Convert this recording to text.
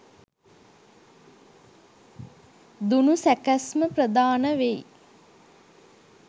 දුනු සැකැස්ම ප්‍රධාන වෙයි